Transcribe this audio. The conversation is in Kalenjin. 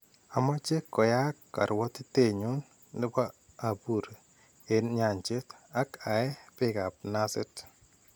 Amache koyaak karwotitenyun nebo abuur en nyancheet ak aee beekab naasit